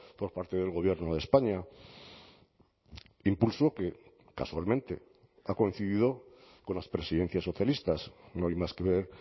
por parte del gobierno de españa impulso que casualmente ha coincidido con las presidencias socialistas no hay más que ver